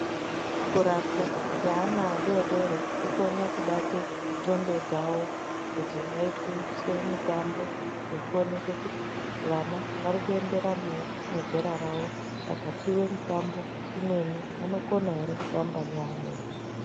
Kurapwa neana adodori kunokone kubata ndxondo dzavo ngekuti munoitiswe mitambo yekuona kuti vana varikuenderana ere nezera ravo. Vakapuwa mutambo imweni vanokona ere kutamba neamweni.